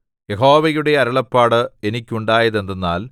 യഹോവയുടെ അരുളപ്പാട് എനിക്കുണ്ടായതെന്തെന്നാൽ